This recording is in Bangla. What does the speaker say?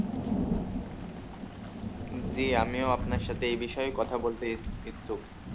জি আমিও আপনার সাথে এই বিষয়ে কথা বলতে ইচ্ছুক